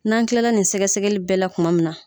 N'an kilala nin sɛgɛsɛgɛli bɛɛ la kuma min na